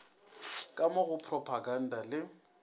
ka mo go propaganda le